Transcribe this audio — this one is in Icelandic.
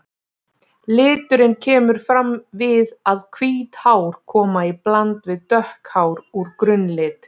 Liturinn kemur fram við að hvít hár koma í bland við dökk hár úr grunnlit.